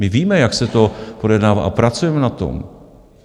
My víme, jak se to projednává, a pracujeme na tom.